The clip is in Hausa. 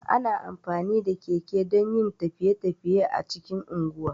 Ana amfani da keke dan yin tafiye- tafiye a cikin unguwa